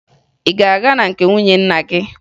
Ị ga-aga na nke nwunye nna gị?